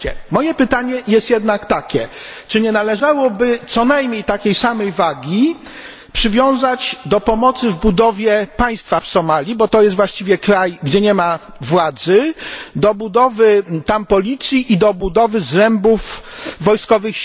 Moje pytanie jest jednak takie czy nie należałoby co najmniej takiej samej wagi przywiązać do budowy państwa w Somalii, bo to jest właściwie kraj pozbawiony władzy, do budowy tamtejszej policji i do budowy zrębów sił wojskowych?